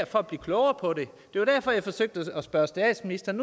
for at blive klogere på det det var derfor jeg forsøgte at spørge statsministeren